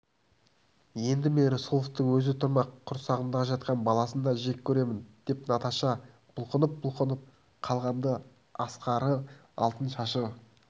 енді мен рысқұловтың өзі тұрмақ құрсағымда жатқан баласын да жек көремін деп наташа бұлқынып-бұлқынып қалғанда ақсары алтын шашы